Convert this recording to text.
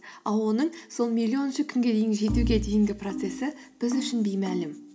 ал оның сол миллионыншы күнге дейін жетуге дейінгі процессі біз үшін беймәлім